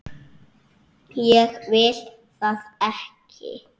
Ég vil það ekki.